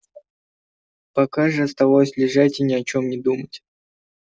пока же оставалось лежать и ни о чем не думать